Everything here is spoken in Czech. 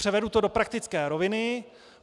Převedu to do praktické roviny.